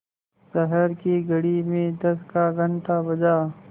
शहर की घड़ी में दस का घण्टा बजा